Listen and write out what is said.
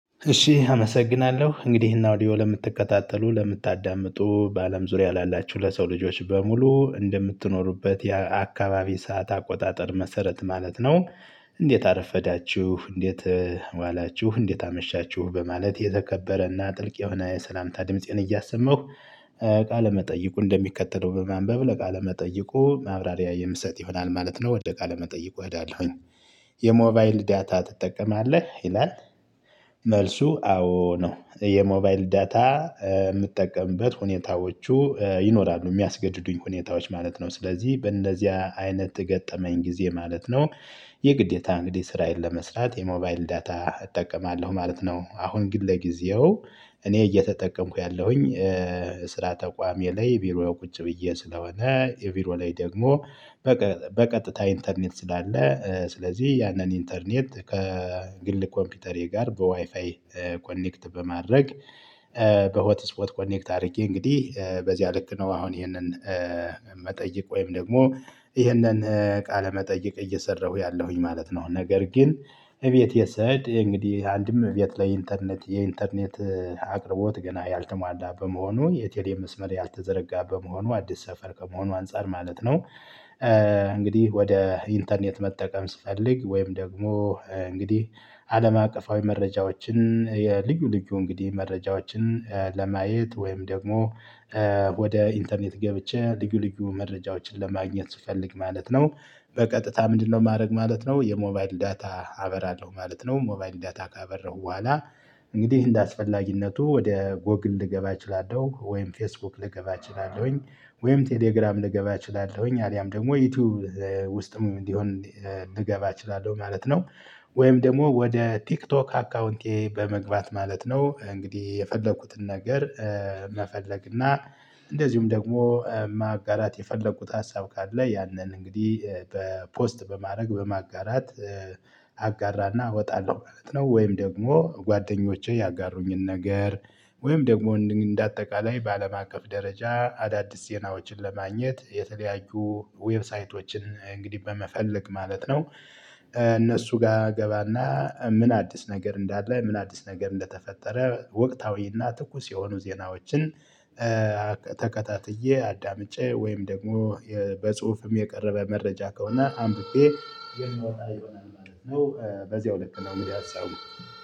እሺ አመሰግናለሁ እንግዲህ እና አውዲዮ ለምትከታተሉ ለምታዳምጡ በአለም ዙሪያ ላላችሁ ለሰው ልጆች በሙሉ እንደምትኖሩበት የአካባቢ ሰዓት አቆጣጠር መሰረት ማለት ነው። እንዴት አረፈዳችሁ እንዴት ዋላችሁ እንዴት አመሻችሁ በማለት የተከበረና ጥልቅ የሆነ የሰላምታ ድምፄን እያሰማሁ። ቃለመጠይቁ እንደሚከተለው በማንበብ ለቃለ መጠይቁ ማብራሪያ የምሰጥ ይሆናል ማለት ነው። ወደ ቃለ መጠይቁ ሄዳለሁኝ። የሞባይል ዳታ ትጠቀማለህ ይላል? መልሱ አዎ ነው። የሞባይል ዳታ የምጠቀምበት ሁኔታዎቹ ይኖራሉ የሚያስገድዱኝ ሁኔታዎች ማለት ነው። ስለዚህ በእንደነዚያ አይነት ገጠመኝ ጊዜ ማለት ነው። የግዴታ እንግዲህ ስራዬን ለመስራት የሞባይል ዳታ እጠቀማለሁ ማለት ነው። አሁን ግን ለጊዜው እኔ እየተጠቀምኩ ያለሁኝ። ተቋሜ ላይ ቢሮ ቁጭ ብዬ ስለሆነ ቢሮ ላይ ደግሞ በቀጥታ ኢንተርኔት ስላለ ስለዚህ ያንን ኢንተርኔት ከግል ኮምፒውተሬ ጋር በዋይፋይ ኮኔክት በማድረግ። በሆት ስፖት ኮኔክት አድርጌ እንግዲህ በዚያ ልክ ነው። አሁን ይሄንን መጠይቅ ወይም ደግሞ ይህንን ቃለ መጠየቅ እየሰራሁ ያለሁኝ ማለት ነው። ነገር ግን እቤት የሰድ እንግዲህ አንድም እቤት ላይ ኢንተርኔት የኢንተርኔት አቅርቦት ገና ያልተሟላ በመሆኑ የቴሌ መስመር ያልተዘረጋ በመሆኑ አዲስ ሰፈር ከመሆኑ አንፃር ማለት ነው። እንግዲህ ወደ ኢንተርኔት መጠቀም ስፈልግ ወይም ደግሞ እንግዲህ አለም አቀፋዊ መረጃዎችን የልዩ ልዩ እንግዲህ መረጃዎችን ለማየት ወይም ደግሞ ወደ ኢንተርኔት ገብቼ ልዩ ልዩ መረጃዎችን ለማግኘት ስፈልግ ማለት ነው። በቀጥታ ምንድነው? ማድረገው ማለት ነው የሞባይል ዳታ አበራለሁ ማለት ነው ሞባይል ዳታ ካበራሁ በኋላ። እንግዲህ እንደ አስፈላጊነቱ ወደ ጎግል ልገባ እችላለሁ ወይም ፌስቡክ ልገባ እችላለሁኝ ወይም ቴሌግራም ልገባ እችላለሁኝ አሊያም ደግሞ ዩቲዩብ ውስጥም እንዲሆን ልገባ እችላለሁ ማለት ነው። ወይም ደግሞ ወደ ቲክቶክ አካውንቴ በመግባት ማለት ነው እንግዲህ የፈለኩትን ነገር። መፈለግ እና እንደዚሁም ደግሞ ማጋራት የፈለኩት ሀሳብ ካለ ያንን እንግዲህ በፖስት በማድረግ በማጋራት አጋራና እወጣለሁ ማለት ነው። ወይም ደግሞ ጓደኞቼ ያጋሩኝን ነገር ወይም ደግሞ እንደ አጠቃላይ በአለም አቀፍ ደረጃ አዳዲስ ዜናዎችን ለማግኘት የተለያዩ ዌብሳይቶችን እንግዲህ በመፈለግ ማለት ነው። እነርሱ ጋር እገባና ምን አዲስ ነገር እንዳለ ምን አዲስ ነገር እንደተፈጠረ ወቅታዊና ትኩስ የሆኑ ዜናዎችን። ተከታትዬ አዳምጬ ወይም ደግሞ በጽሁፍም የቀረበ መረጃ ከሆነ አንብቤ የምወጣ ይሆናል ማለት ነው። በዚያው ልክ ነው እንግዲህ ሀሳቡ።